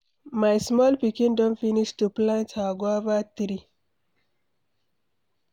My small pikin don finish to plant her guava tree.